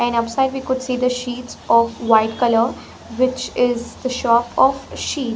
And upside we could see the sheets of white color which is the shop of sheet.